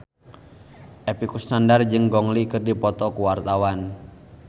Epy Kusnandar jeung Gong Li keur dipoto ku wartawan